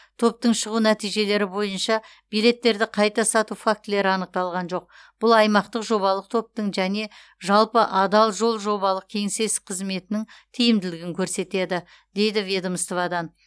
топтың шығу нәтижелері бойынша билеттерді қайта сату фактілері анықталған жоқ бұл аймақтық жобалық топтың және жалпы адал жол жобалық кеңсесі қызметінің тиімділігін көрсетеді дейді ведомстводан